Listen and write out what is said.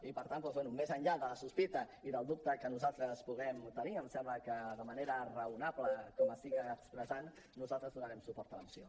i per tant doncs bé més enllà de la sospita i del dubte que nosaltres puguem tenir em sembla que de manera raonable com estic expressant nosaltres donarem suport a la moció